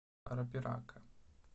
арапирака